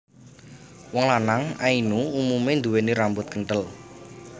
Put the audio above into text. Wong lanang Ainu umume nduwèni rambut kentel